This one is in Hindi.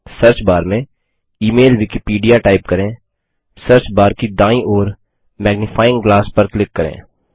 सर्च बार में इमेल विकिपीडिया टाइप करें सर्च बार की दायीं ओर मैग्निफाइंग ग्लास मैग्निफाइंग ग्लास पर क्लिक करें